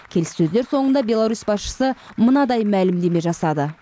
келіссөздер соңында беларусь басшысы мынадай мәлімдеме жасады